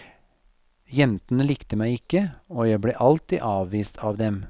Jentene likte meg ikke, og jeg ble alltid avvist av dem.